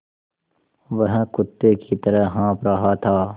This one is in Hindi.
वह कुत्ते की तरह हाँफ़ रहा था